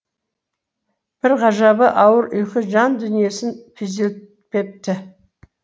бір ғажабы ауыр ұйқы жан дүниесін күйзелтпепті